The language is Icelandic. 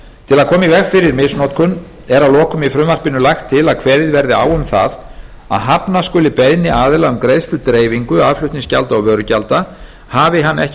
í veg fyrir misnotkun er að lokum í frumvarpinu lagt til að kveðið verði á um það að hafna skuli beiðni aðila um greiðsludreifingu aðflutningsgjalda og vörugjalda hafi hann ekki